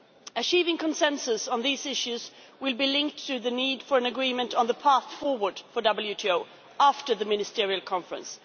WTO. Achieving consensus on these issues will be linked to the need for an agreement on the path forward for the WTO after the Ministerial Conference.